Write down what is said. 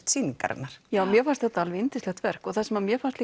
sýningarinnar mér fannst þetta alveg yndislegt verk það sem mér fannst